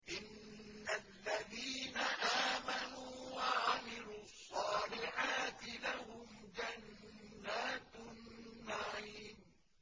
إِنَّ الَّذِينَ آمَنُوا وَعَمِلُوا الصَّالِحَاتِ لَهُمْ جَنَّاتُ النَّعِيمِ